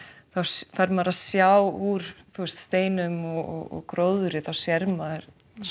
þá fer maður að sjá úr steinum og gróðri þá sér maður